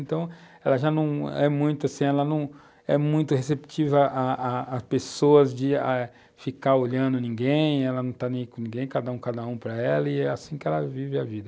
Então, ela já não é muito assim, ela não é muito receptiva a a a às pessoas, de de ah, ficar olhando ninguém, ela não está nem com ninguém, cada um, cada um para ela e é assim que ela vive a vida.